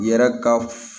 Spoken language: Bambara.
Yɛrɛ ka f